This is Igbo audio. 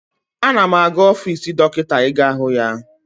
Ana m aga ọfiisi Dọkịta ị ga hụ ya.